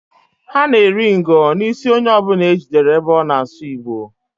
Ha na-eri ngo n'isi onye ọbụna e jidere ebe ọ na asụ Igbo.